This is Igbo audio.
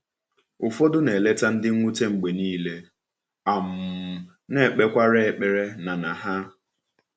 Ụfọdụ na-eleta ndị mwute mgbe niile, um na-ekpekwara ekpere na na ha.